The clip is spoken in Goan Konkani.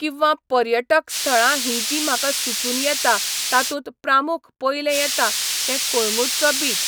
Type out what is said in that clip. किंवा पर्यटक स्थळां हीं जी म्हाका सुचून येतां तातूंत प्रामुख पयलें येता तें कोळंगूटचो बीच